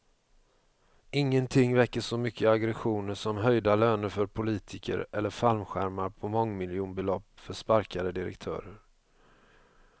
Ingenting väcker så mycket aggressioner som höjda löner för politiker eller fallskärmar på mångmiljonbelopp för sparkade direktörer.